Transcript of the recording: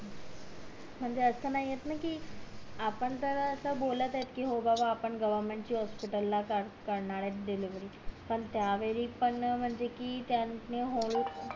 म्हणजे असं नाहीये ना कि आपण तर असं बोलत येत कि हो बाबा आपण गव्हरमेंट च्या हॉस्पिटल ला करणार आहे डिलेव्हरी पण त्या वेळी पण म्हणजे कि त्यानी हळू